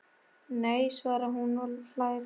Nei! svarar hún og hlær.